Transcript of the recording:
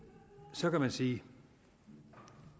så kan man sige at